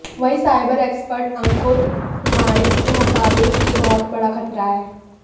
वहीं cyber expert Ankur Puranik के मुताबिक यह बहोत बड़ा खतरा है